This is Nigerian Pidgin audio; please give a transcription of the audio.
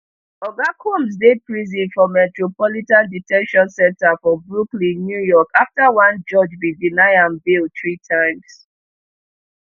oga combs dey prison for metropolitan de ten tion center for brooklyn new york afta one judge bin deny am bail three times